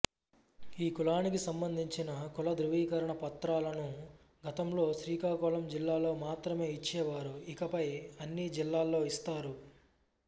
ఈ కులానికి సంబంధించిన కులధృవీకరణ పత్రాలను గతంలో శ్రీకాకుళం జిల్లాలో మాత్రమే ఇచ్చేవారు ఇకపై అన్ని జిల్లాల్లో ఇస్తారు